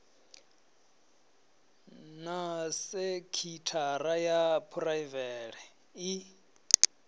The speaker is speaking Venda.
na sekitshara ya phuraivele i